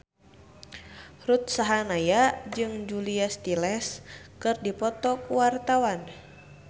Ruth Sahanaya jeung Julia Stiles keur dipoto ku wartawan